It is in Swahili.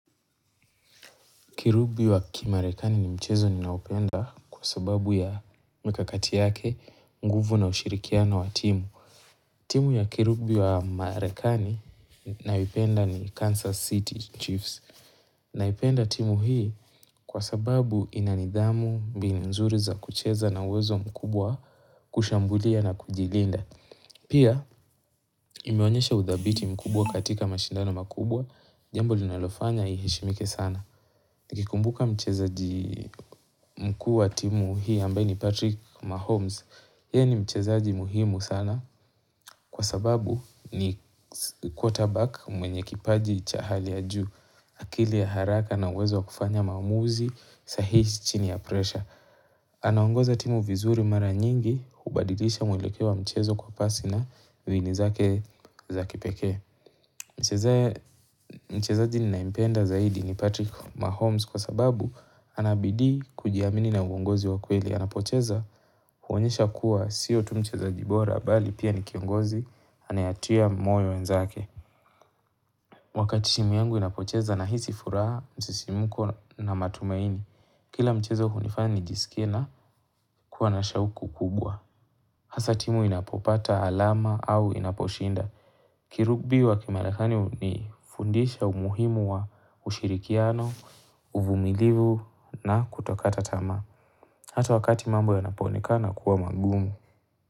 Kirubi wa kimarekani ni mchezo ninaopenda kwa sababu ya mkakati yake, nguvu na ushirikiana wa timu. Timu ya kirubi wa marekani naipenda ni Kansas City Chiefs. Naipenda timu hii kwa sababu ina nidhamu mbini nzuri za kucheza na uwezo mkubwa wa kushambulia na kujilinda. Pia imeonyesha udhabiti mkubwa katika mashindano makubwa, jambo linalofanya iheshimike sana. Nikikumbuka mchezaji mkuu wa timu hii ambayi ni Patrick Mahomes. Yeye ni mchezaji muhimu sana kwa sababu ni quarter back mwenye kipaji cha hali ya juu. Akili ya haraka na uwezo wa kufanya maamuzi sahihi chini ya pressure. Anaongoza timu vizuri mara nyingi hubadilisha mwelekewa mchezo kwa pasi na viini zake za kipekee. Mchezaji ninaempenda zaidi ni Patrick Mahomes kwa sababu ana bidii kujiamini na uongozi wa kweli. Anapocheza huonyesha kuwa sio tu mchezaji bora bali pia ni kiongozi anayetia moyo wenzake. Wakati shimu yangu inapocheza nahisi furaha msisimuko na matumaini. Kila mchezo hunifanya nijisikie na kuwa na shauku kubwa. Hasaa timu inapopata alama au inaposhinda. Kirubi wa kimarekani hunifundisha umuhimu wa ushirikiano, uvumilivu na kutokata tamaa. Hata wakati mambo yanapooneka kuwa magumu.